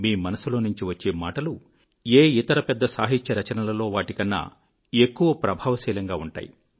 మీ మనసులోనుంచి వచ్చే మాటలు ఏ ఇతర పెద్ద సాహిత్య రచనలలో వాటికన్నా ఎక్కువ ప్రభావశీలంగా ఉంటాయి